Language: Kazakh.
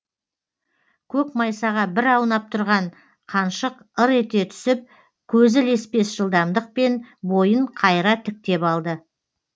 көк майсаға бір аунап тұрған қаншық ыр ете түсіп көзі леспес жылдамдықпен бойын қайыра тіктеп алды